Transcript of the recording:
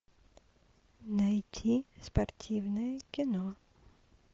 найти спортивное кино